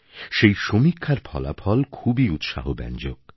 সেই সমীক্ষার ফলাফল খুবই উৎসাহব্যঞ্জক